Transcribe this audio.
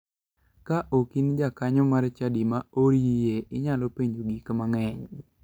Ka ok in jakanyo mar chadi ma ooriye, inyalo penjo gik mang'eny.